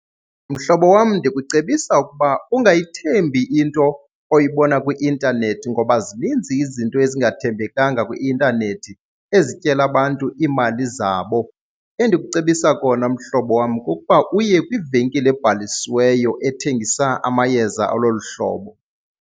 Mhlobo wam, ndikucebisa ukuba ungayithembi into oyibona kwi-intanethi ngoba zininzi izinto ezingathembekanga kwi-intanethi ezityela abantu iimali zabo. Endikucebisa kona mhlobo wam kukuba uye kwivenkile ebhalisiweyo ethengisa amayeza alolu hlobo.